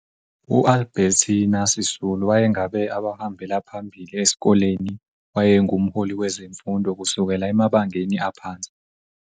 UAlbertina Sisulu wayengabe abahambela phambili eskoleni wayengumholi kwezemfundo kusukela emabangeni aphansi.